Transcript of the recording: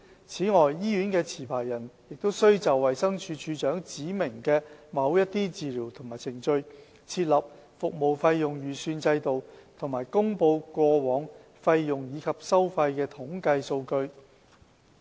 此外，醫院的持牌人亦須就衞生署署長指明的某些治療及程序，設立服務費用預算制度和公布過往費用及收費的統計數據。